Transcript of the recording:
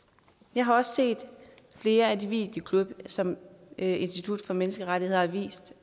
jeg har også set flere af de videoklip som institut for menneskerettigheder har vist